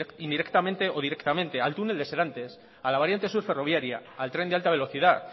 indirectamente o directamente al túnel del serantes a la variante sur ferroviaria al tren de alta velocidad